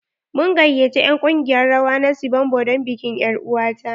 Mun gayyace en ƙungiyar rawa na sibombo don bikin er'uwa ta.